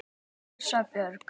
Þín Erla Björk.